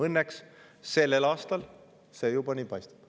Õnneks sellel aastal juba nii paistab.